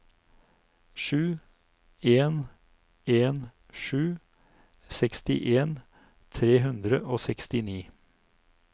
sju en en sju sekstien tre hundre og sekstini